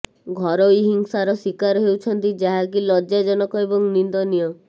ଘରୋଇ ହିଂସାର ଶିକାର ହେଉଛନ୍ତି ଯାହାକି ଲଜ୍ଜାଜନକ ଏବଂ ନିନ୍ଦନୀୟ